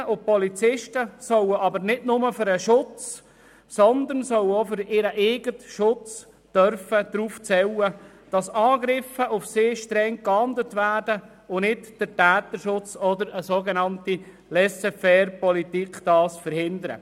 Die Polizistinnen und Polizisten sollen aber nicht nur für den Schutz anderer, sondern auch für ihren eigenen Schutz darauf zählen können, dass Angriffe auf sie streng geahndet werden und nicht der Täterschutz oder eine sogenannte Laisser-faire-Politik dies verhindert.